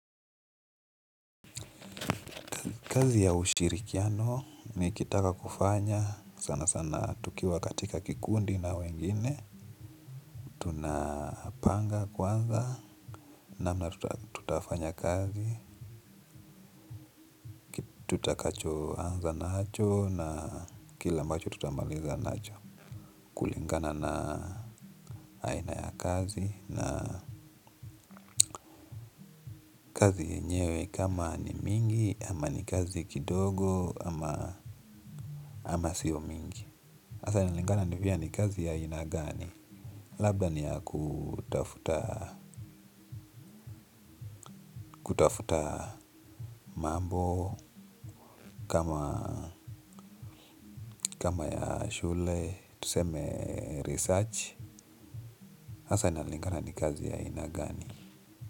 Kazi ya ushirikiano ni kitaka kufanya, sana sana tukiwa katika kikundi na wengine tunapanga kwanza na tutafanya kazi, tutakacho anza nacho na kile ambacho tutamaliza nacho kulingana na aina ya kazi na kama ni mingi ama ni kazi kidogo ama ama siyo mingi asa inalingana ni gani kazi ya aina gani labda ni ya kutafuta mambo kama ya shule tuseme research asa inalingana ni kazi ya aina gani.